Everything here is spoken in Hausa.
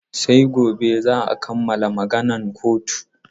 Sai gobe za a kammala maganan kotun.